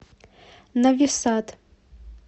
нови сад